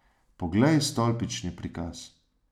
Poglej stolpčni prikaz.